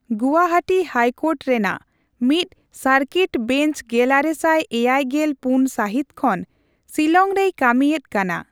Guwahati high court ᱨᱮᱱᱟᱜ ᱢᱤᱫ circuit bench ᱜᱮᱞᱟᱨᱮᱥᱟᱭ ᱮᱭᱟᱭ ᱜᱮᱞ ᱯᱩᱱ ᱥᱟᱹᱦᱤᱛ ᱠᱷᱚᱱ ᱥᱤᱞᱟᱝ ᱨᱮᱭ ᱠᱟᱹᱢᱤ ᱮᱫ ᱠᱟᱱᱟ ᱾